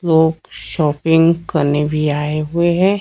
लोग शॉपिंग करने भी आए हुए हैं।